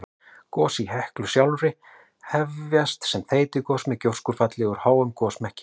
Gos í Heklu sjálfri hefjast sem þeytigos með gjóskufalli úr háum gosmekki.